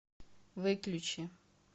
выключи